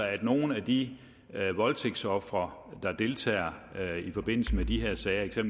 at nogle af de voldtægtsofre der deltager i forbindelse med de her sager